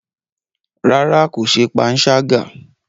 Rárá, ko ṣe panṣaga.